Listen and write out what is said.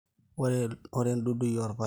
ore dudui olpaek